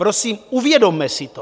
Prosím, uvědomme si to.